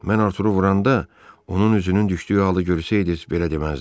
Mən Arturu vuranda, onun üzünün düşdüyü halı görsəydiz, belə deməzdiz.